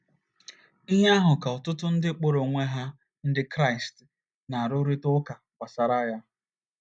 Ihe ahụ ka ọtụtụ ndị kpọrọ onwe ha Ndị Kraịst na - arụrịta ụka gbasara ya.